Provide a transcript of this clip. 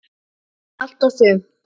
Allt og sumt.